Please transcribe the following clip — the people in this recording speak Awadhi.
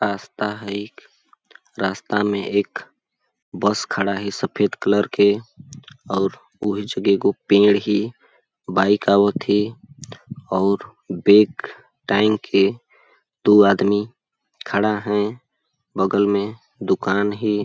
रास्ता है एक रास्ता में एक बस खड़ा है सफेद कलर के और वहींच गो एगो पेड़ है बाईक आवथे और बेग टाएंग के दू आदमी खड़ा है बगल में दुकान है।